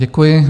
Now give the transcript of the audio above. Děkuji.